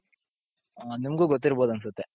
ಹ ನಿಮ್ಗು ಗೊತಿರ್ಬೋದ್ ಅನ್ಸುತ್ತೆ.